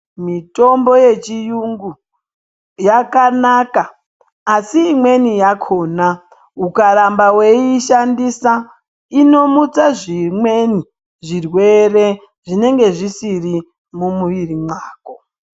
Mitombo yechiyungu yakanaka asi imweni yakhona ukaramba wei ishandisa inomutse zvimweni zvirwere zvinenge zvisiri mumwiri mwako.